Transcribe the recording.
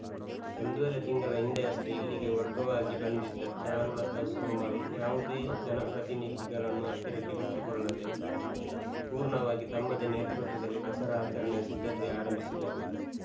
ಒಂದೂವರೆ ತಿಂಗಳ ಹಿಂದೆಯಷ್ಟೇ ಇಲ್ಲಿಗೆ ವರ್ಗವಾಗಿ ಬಂದಿದ್ದ ಚಾರುಲತಾ ಸೋಮಲ್‌ ಯಾವುದೇ ಜನಪ್ರತಿನಿಧಿಗಳನ್ನು ಹತ್ತಿರಕ್ಕೆ ಬಿಟುಕೊಳ್ಳದೆ ಪೂರ್ಣವಾಗಿ ತಮ್ಮದೇ ನೇತೃತ್ವದಲ್ಲಿ ದಸರಾ ಆಚರಣೆಯ ಸಿದ್ಧತೆ ಆರಂಭಿಸಿದ್ದರು